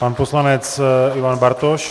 Pan poslanec Ivan Bartoš.